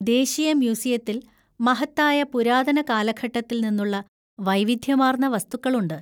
ദേശീയ മ്യൂസിയത്തിൽ മഹത്തായ പുരാതന കാലഘട്ടത്തിൽ നിന്നുള്ള വൈവിധ്യമാർന്ന വസ്തുക്കളുണ്ട്.